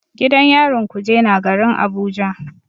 Gidan yarin kuje na garin Abuja.